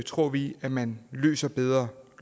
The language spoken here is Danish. tror vi at man løser bedre